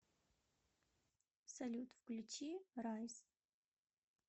салют включи райз